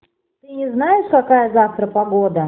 ты не знаешь какая завтра погода